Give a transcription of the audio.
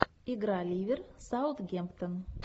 игра ливер саутгемптон